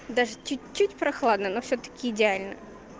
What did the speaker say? даже чуть-чуть прохладно но всё-таки идеально